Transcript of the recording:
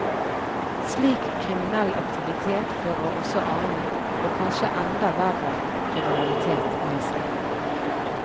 Slik kriminell aktivitet fører også annen, og kanskje enda verre, kriminalitet med seg.